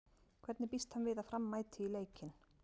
Hvernig býst hann við að Fram mæti í leikinn?